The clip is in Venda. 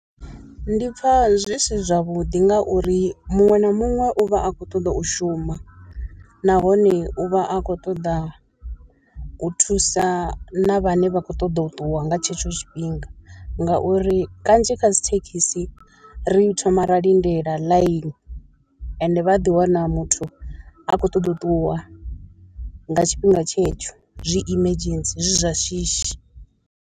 Ndi pfha zwi si zwavhuḓi ngauri muṅwe na muṅwe u vha a khou ṱoḓa u shuma, nahone u vha a khou ṱoḓa u thusa na vhane vha khou ṱoḓa u ṱuwa nga tshetsho tshifhinga ngauri kanzhi kha dzi thekhisi ri thoma ra lindela ḽaini, ende vha ḓiwana muthu a khou ṱoḓa u ṱuwa nga tshifhinga tshetsho zwi emergency zwi zwa shishi.